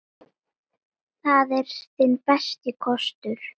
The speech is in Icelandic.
Það er þinn besti kostur.